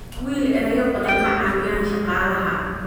Wiil, ereyo badan ma caawiyaan shaqaalaha